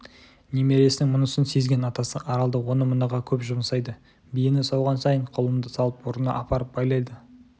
немересінің мұнысын сезген атасы аралды оны-мұныға көп жұмсайды биені сауған сайын құлынды салып орнына апарып байлайды